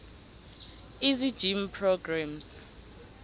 easy gym programs